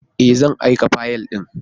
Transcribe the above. Ee! zan aika fayil ɗin.